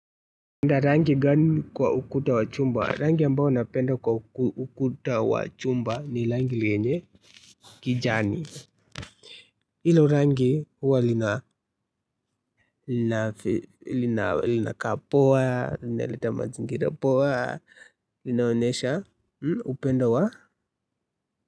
Mna rangi gani kwa ukuta wa chumba? Rangi ambayo napenda kwa ukuta wa chumba ni rangi lenye kijani hilo rangi huwa linakaa poa, linaleta mazingira poa, linaonesha upendo wa.